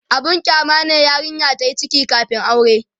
abun kyama ne yarinya tayi ciki kamin aure